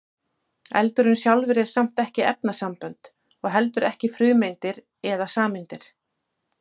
eldurinn sjálfur er samt ekki efnasambönd og heldur ekki frumeindir eða sameindir